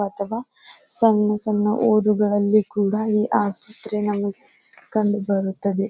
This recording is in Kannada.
ಅಥವಾ ಸಣ್ಣ ಸಣ್ಣ ಊರುಗಳಲ್ಲಿ ಕೂಡ ಈ ಆಸ್ಪತ್ರೆ ನಮಗೆ ಕಂಡು ಬರುತ್ತದೆ.